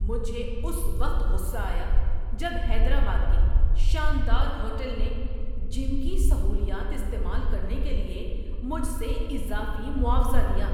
مجھے اس وقت غصہ آیا جب حیدرآباد کے شاندار ہوٹل نے جم کی سہولیات استعمال کرنے کے لیے مجھ سے اضافی معاوضہ لیا۔